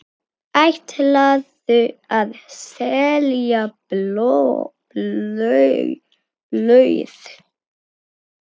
Ætlarðu að selja blöð?